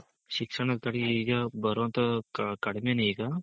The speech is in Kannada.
ಶಿಕ್ಷಣದಲ್ಲಿ ಈಗ ಬರೋದು ಕಡ್ಮೇನೆ ಈಗ